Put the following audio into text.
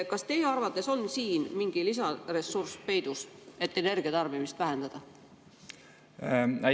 Kas teie arvates on siin peidus mingi lisaressurss, et energiatarbimist vähendada?